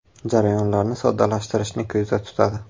Jarayonlarni soddalashtirishni ko‘zda tutadi.